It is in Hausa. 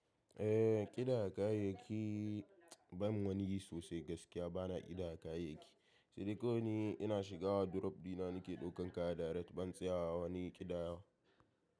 Eh, ƙidaya kayayyaki ban wani yi sosai gaskiya bana ƙidaya kayayyaki. Sai dai ko ina shiga wordrop dina nake ɗaukan kaya direct ban tsaya wani ƙidayawa.